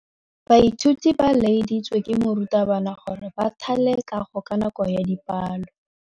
Baithuti ba laeditswe ke morutabana gore ba thale kagô ka nako ya dipalô.